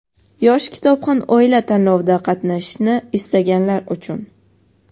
"Yosh kitobxon oila" tanlovida qatnashishni istaganlar uchun .